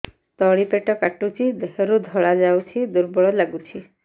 ତଳି ପେଟ କାଟୁଚି ଦେହରୁ ଧଳା ଯାଉଛି ଦୁର୍ବଳ ଲାଗୁଛି